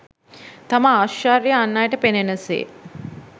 තම ඓශ්චර්යය අන් අයට පෙනෙන සේ